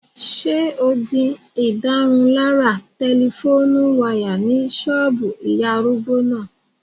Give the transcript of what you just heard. Ṣé o di ìdárunlárà tẹlifóònù wáyà ní ṣọ́ọ̀bù ìyá arúgbó náà?